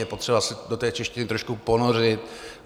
Je potřeba se do té češtiny trošku ponořit.